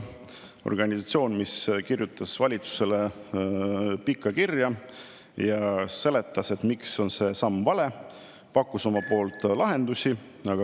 Organisatsioon kirjutas valitsusele pika kirja ja seletas, miks on see samm vale, ja pakkus omalt poolt lahendusi.